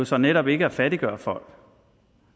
så netop ikke at fattiggøre folk